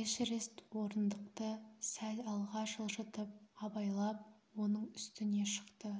эшерест орындықты сәл алға жылжытып абайлап оның үстіне шықты